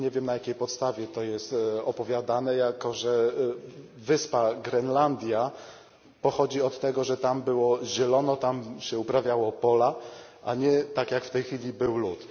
Nie wiem na jakiej podstawie jest to opowiadane, jako że nazwa wyspy Grenlandia pochodzi od tego, że tam było zielono, tam się uprawiało pola, a nie tak jak w tej chwili był lód.